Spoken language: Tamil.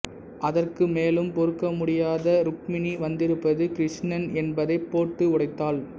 அதற்கு மேலும் பொறுக்கமுடியாத ருக்மிணி வந்திருப்பது கிருஷ்ணன் என்பதைப் போட்டு உடைத்தாள்